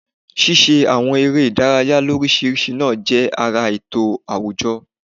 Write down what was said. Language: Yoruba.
Ṣíṣe àwọn eré ìdárayá l'óríṣiríṣi náà jẹ́ ara ètò àwùjọ